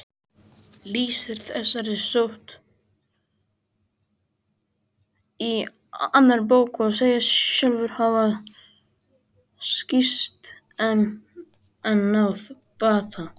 Þúkýdídes lýsir þessari sótt í annarri bók og segist sjálfur hafa sýkst en náð bata.